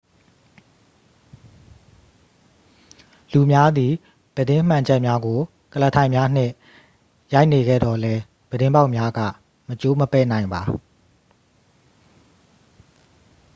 လူများသည် ပြတင်းမှန်ချပ်များကို ကုလားထိုင်များနှင့် ရိုက်နေခဲ့သော်လည်း ပြတင်းပေါက်များက မကျိုးမပဲ့နိုင်ပါ